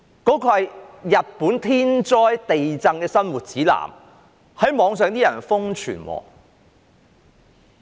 那是日本天災地震的生活指南，但被人在互聯網上瘋傳。